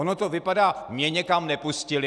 Ono to vypadá - mě někam nepustili?